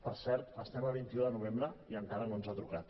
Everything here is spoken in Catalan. per cert estem a vint un de novembre i encara no ens ha trucat